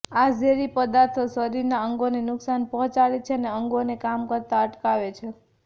આ ઝેરી પદાર્થો શરીરના અંગોને નુકસાન પહોંચાડે છે અને અંગોને કામ કરતાં અટકાવે છે